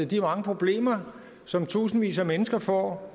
de mange problemer som tusindvis af mennesker får